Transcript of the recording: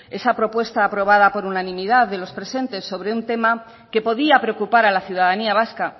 esa propuesta aprobada por unanimidad de los presentes sobre un tema que podía preocupar a la ciudadanía vasca